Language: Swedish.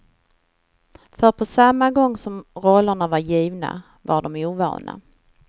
För på samma gång som rollerna var givna, var de ovana.